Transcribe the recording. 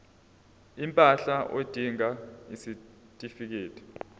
impahla udinga isitifikedi